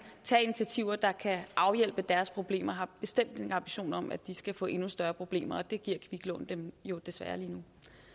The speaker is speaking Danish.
tage initiativer der kan afhjælpe deres problemer og har bestemt ingen ambitioner om at de skal få endnu større problemer og det giver kviklån dem jo desværre lige